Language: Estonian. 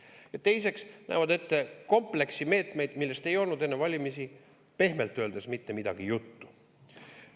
Ja teiseks nähakse ette kompleks meetmeid, millest ei olnud enne valimisi, pehmelt öeldes, mitte midagi juttu.